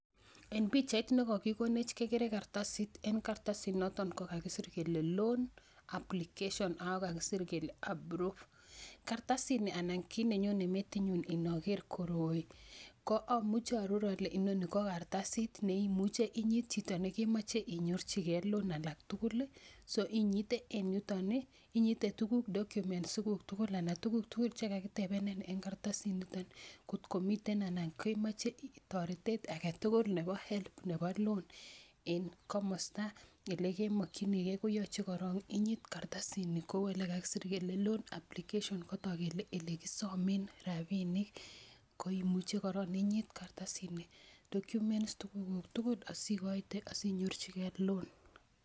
en pichait nekokikonech kekere kartasit en kartasit noton kokakisir kele [csloan application ako kakisir kele approved kartasitni anan kit nenyone metinyun inoker koroi ko amuche aaror ole inoni ko kartasit neimuche inyit chito nekemoche inyorchigee loan alak tugul ih so inyite en yuton ih inyite tuguk documents iguk tugul anan tuguk tugul chekakitebenin en kartasit niton kotko miten anan kemoche toretet agetugul nebo help nebo loan en komosta elekemokyinigee koyoche korong inyit kartasitni kou elekakisir kele loan application kotok kele elekisomen rapinik koimuche korong inyit kartarsit ni documents tuguk kuk tugul asikoite asinyorchigee loan